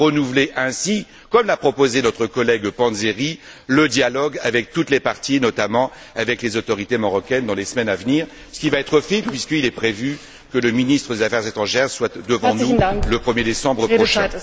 il faut renouveler ainsi, comme l'a proposé notre collègue Panzeri, le dialogue avec toutes les parties, notamment avec les autorités marocaines dans les semaines à venir, ce qui va être fait, puisqu'il est prévu que le ministre des affaires étrangères intervienne devant nous le 1er décembre prochain.